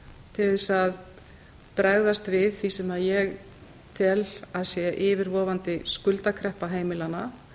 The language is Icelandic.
til þess að bregðast við því sem ég tel að sé yfirvofandi skuldakreppa heimilanna